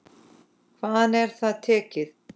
Hvaðan er það tekið?